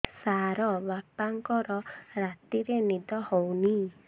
ସାର ବାପାଙ୍କର ରାତିରେ ନିଦ ହଉନି